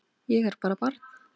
Ég er bara barn.